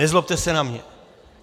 Nezlobte se na mě.